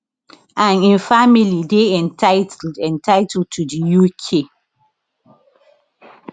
and im family dey entitled entitled to for di uk